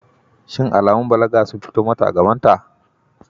Shin alamun balaga sun fito mata a gabanta?